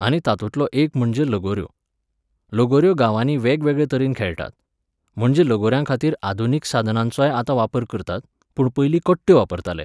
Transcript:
आनी तातूंतलो एक म्हणजे लोगोऱ्यो. लोगोऱ्यो गांवांनी वेगवेगळे तरेन खेळटात. म्हणजे लोगोऱ्यांखातीर आधुनीक साधनांचोय आतां वापर करतात, पूण पयलीं कट्ट्यो वापरताले